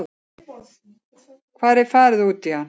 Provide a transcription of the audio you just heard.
Hvar er farið út í hann?